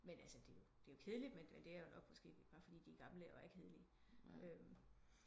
Men altså det er jo det er kedeligt men der måske bare fordi de er gamle og er kedelige